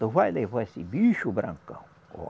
Tu vai levar esse bicho, Brancão.